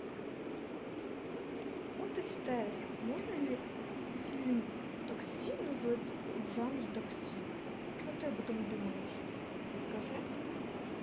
как ты считаешь можно ли фильм такси назвать в жанре такси что ты об этом думаешь расскажи